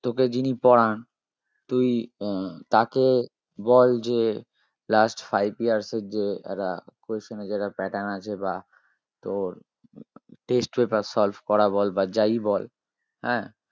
তোকে যিনি পড়ান তুই আহ তাকে বল যে last five years এর যে একটা question এর যে একটা pattern আছে বা তোর test paper solve করা বল বা যাই বল হ্যাঁ?